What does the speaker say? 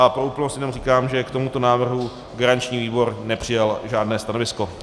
A pro úplnost jenom říkám, že k tomuto návrhu garanční výbor nepřijal žádné stanovisko.